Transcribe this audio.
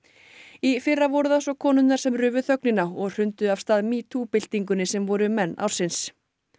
í fyrra voru það svo konurnar sem rufu þögnina og hrundu af stað metoo byltingunni sem voru menn ársins